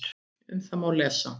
Um það má lesa